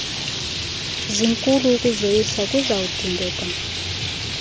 zinkulu ukuzoyisa kuzawudingeka